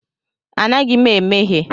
Anaghị m emehie.